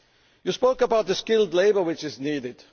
You spoke about the skilled labour which is needed.